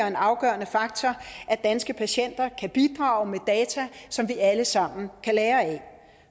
en afgørende faktor at danske patienter kan bidrage data som vi alle sammen kan lære af